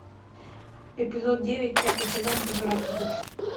эпизод девять пятый сезон пожиратель душ